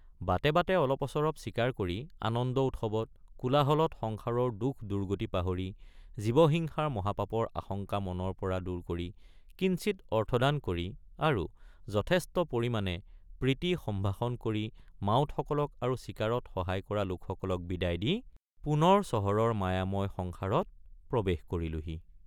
বাটে বাটে অলপঅচৰপ চিকাৰ কৰি আনন্দউৎসৱত কোলাহলত সংসাৰৰ দুখদুৰ্গতি পাহৰি জীৱ হিংসাৰ মহাপাপৰ আশঙ্কা মনৰপৰা দূৰ কৰি কিঞ্চিৎ অৰ্থদান কৰি আৰু যথেষ্ট পৰিমাণে প্ৰীতিসম্ভাষণ কৰি মাউতসকলক আৰু চিকাৰত সহায় কৰা লোকসকলক বিদায় দি পুনৰ চহৰৰ মায়াময় সংসাৰত প্ৰৱেশ কৰিলোঁহি।